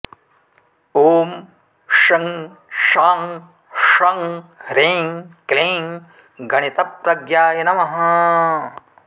ॐ शं शां षं ह्रीं क्लीं गणितप्रज्ञाय नमः